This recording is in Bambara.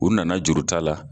U nana juruta la.